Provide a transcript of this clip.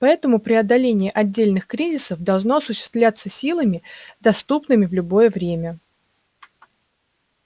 поэтому преодоление отдельных кризисов должно осуществляться силами доступными в любое время